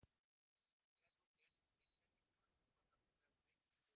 Er nú kennisetningin orðin sú að það þurfi að sleikja sig upp við